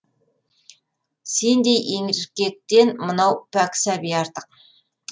сендей еркектен мынау пәк сәби артық